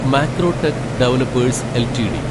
Macrotech Developers LTD